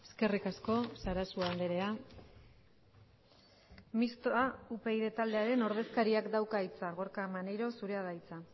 eskerrik asko sarasua andrea mistoa upyd taldearen ordezkariak dauka hitza gorka maneiro zurea da hitza